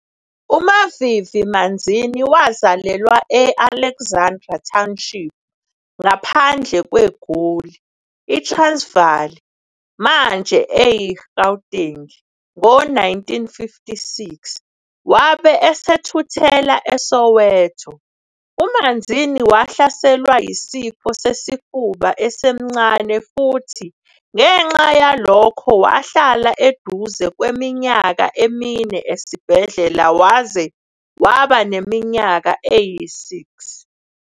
UMavivi Manzini wazalelwa e-Alexandra Township, ngaphandle kweGoli, iTransvaal, manje eyiGauteng, ngo-1956, wabe esethuthela eSoweto. UManzini wahlaselwa yisifo sesifuba esemncane futhi ngenxa yalokho wahlala eduze kweminyaka emine esibhedlela waze waba neminyaka eyi-6.